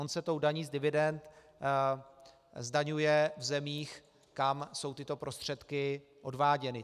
On se tou daní z dividend zdaňuje v zemích, kam jsou tyto prostředky odváděny.